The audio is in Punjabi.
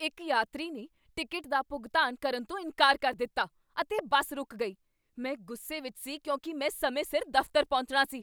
ਇੱਕ ਯਾਤਰੀ ਨੇ ਟਿਕਟ ਦਾ ਭੁਗਤਾਨ ਕਰਨ ਤੋਂ ਇਨਕਾਰ ਕਰ ਦਿੱਤਾ, ਅਤੇ ਬੱਸ ਰੁਕ ਗਈ। ਮੈਂ ਗੁੱਸੇ ਵਿਚ ਸੀ ਕਿਉਂਕਿ ਮੈ ਸਮੇਂ ਸਿਰ ਦਫ਼ਤਰ ਪਹੁੰਚਣਾ ਸੀ।